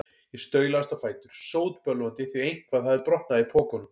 Ég staulaðist á fætur, sótbölvandi, því eitthvað hafði brotnað í pokunum.